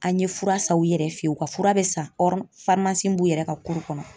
An ye fura san u yɛrɛ fɛ yen, u ka fura bɛ san b'u yɛrɛ ka kɔnɔ.